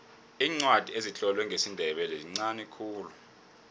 iincwadi ezitlolwe ngesindebele zinqani khulu